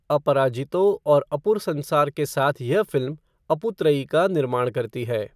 अपराजितो और अपुर संसार के साथ यह फ़िल्म, अपु त्रयी का निर्माण करती है।